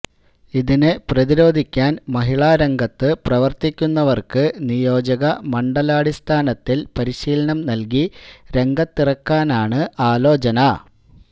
ഇതിനെ പ്രതിരോധിക്കാൻ മഹിളാ രംഗത്തു പ്രവർത്തിക്കുന്നവർക്കു നിയോജക മണ്ഡലാടിസ്ഥാനത്തിൽ പരിശീലനം നൽകി രംഗത്തിറക്കാനാണ് ആലോചന